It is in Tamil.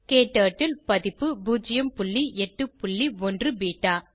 க்டர்ட்டில் பதிப்பு 081 பெட்டா